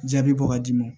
Jaabi bɔ ka di